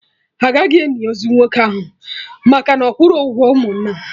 Agaghị eni ozu nwoke ahụ maka na ọ kwụrọ ụgwọ ụmụnna